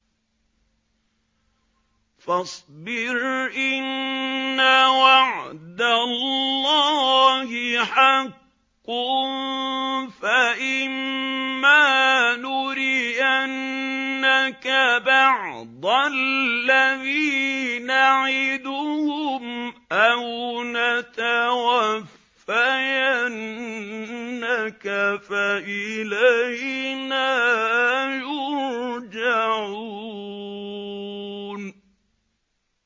فَاصْبِرْ إِنَّ وَعْدَ اللَّهِ حَقٌّ ۚ فَإِمَّا نُرِيَنَّكَ بَعْضَ الَّذِي نَعِدُهُمْ أَوْ نَتَوَفَّيَنَّكَ فَإِلَيْنَا يُرْجَعُونَ